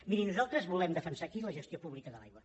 miri nosaltres volem defensar aquí la gestió pública de l’aigua